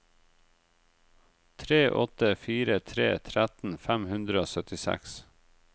tre åtte fire tre tretten fem hundre og syttiseks